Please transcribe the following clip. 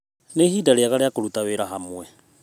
Nĩ ihinda rĩega rĩa kũruta wĩra hamwe.